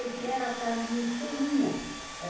Era a tarde inteirinha.